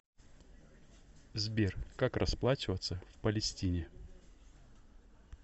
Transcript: сбер как расплачиваться в палестине